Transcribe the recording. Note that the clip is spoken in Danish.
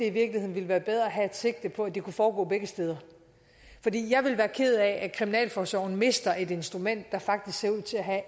i virkeligheden ville være bedre at have et sigte på at det kunne foregå begge steder jeg ville være ked af at kriminalforsorgen mister et instrument der faktisk ser ud til at have